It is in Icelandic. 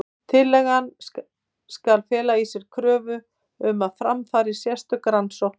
Tillagan skal fela í sér kröfu um að fram fari sérstök rannsókn.